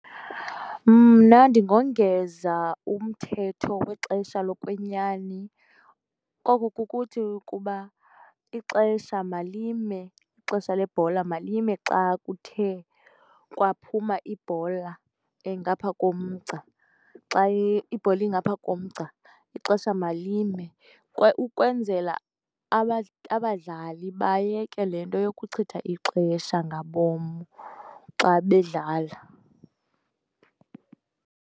Mna ndingongeza umthetho wexesha lokwenyani. Oku kukuthi ukuba ixesha malime, ixesha lebhola malime xa kuthe kwaphuma ibhola ngapha komgca, xa ibhola ingaphaya komgca ixesha malime ukwenzela abadlali bayeke le nto yokuchitha ixesha ngabom xa bedlala.